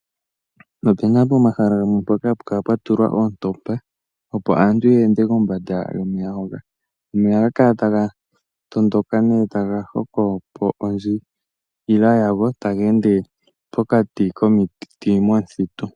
Opuna pomahala gamwe mpoka hapu kala pwa tulwa oontopa opo aantu yeende kombanda yomeya hoka. Omeya ohaga kala ta ga tondoka nee ta ga ha hokopo ondjila yago taga ende pokati komiti momithitu.